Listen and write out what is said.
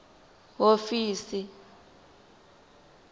hofisi